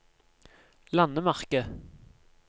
landemerke